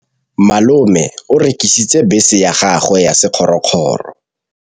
Malome o rekisitse bese ya gagwe ya sekgorokgoro.